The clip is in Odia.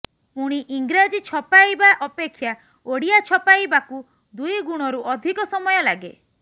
ପୁଣି ଇଂରାଜୀ ଛପାଇବା ଅପେକ୍ଷା ଓଡିଆ ଛପାଇବାକୁ ଦୁଇଗୁଣରୁ ଅଧିକ ସମୟ ଲାଗେ